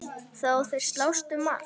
Þó þeir slást um margt.